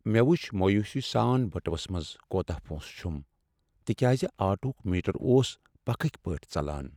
مےٚ وُچھ مویوٗسی سان بٔٹوَس منٛز کوتاہ پۄنٛسہٕ چُھم تِکیٛازِ آٹووُک میٖٹر اوس پکھٕکۍ پٲٹھۍ ژلان ۔